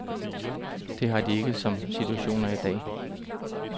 Det har de ikke som situationen er i dag.